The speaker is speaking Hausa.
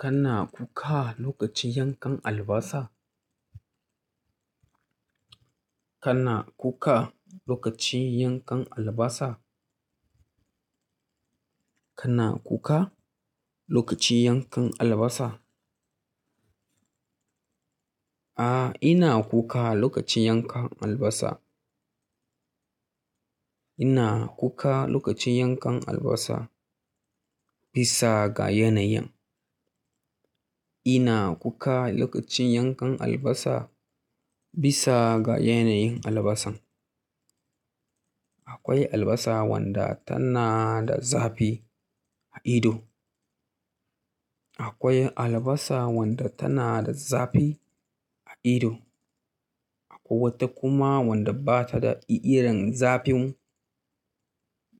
Kana kuka lokacin yankan albasa? Kana kuka lokacin yankan albasa? Kana kuka lokacin yankan albasa? A, ina kuka lokacin yankan albasa. Ina kuka lokacin yankan albasa bisa ga yanayin. Ina kuka lokacin yankan albasa bisa ga yanayin albasan. Akwai albasa wanda tana da zafi a ido. Akwai albasa wadda tana da zafi a ido akwai wata kuma wanda ba ta da irin zafin,